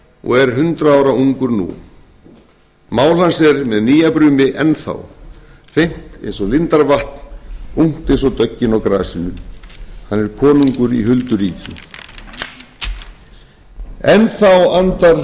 og er hundrað ára ungur nú mál hans er með nýjabrumi enn þá hreint eins og lindarvatn ungt eins og döggin á grasinu hann er konungur í hulduríki enn þá andar suðrið sæla af